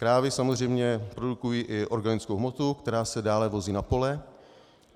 Krávy samozřejmě produkují i organickou hmotu, která se dále vozí na pole.